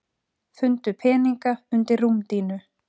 Fundu peninga undir rúmdýnu